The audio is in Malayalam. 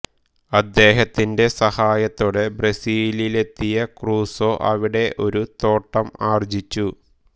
അദ്ദേഹത്തിന്റെ സഹായത്തോടെ ബ്രസ്സിലിലെത്തിയ ക്രുസോ അവിടെ ഒരു തോട്ടം ആർജ്ജിച്ചു